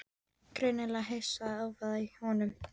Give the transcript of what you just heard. Greinilega hissa á hávaðanum í honum.